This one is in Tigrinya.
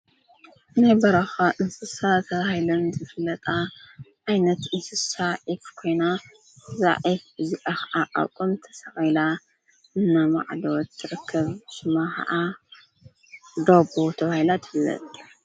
ናይ በራኻ እንስሳ ተባሂለን ዝፍለጣ ዓይነት እንስሳ ኮይና እዛ ዒፍ እዚኣ ኽዓ ቆም ተሰቒላ እናማዕደወት ትረክብ፡፡ ሽማ ኸዓ ዳቦ ተባሂላ ትፍለጥ፡፡